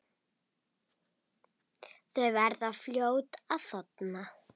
Þau verða fljót að þorna.